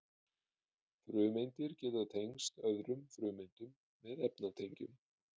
frumeindir geta tengst öðrum frumeindum með efnatengjum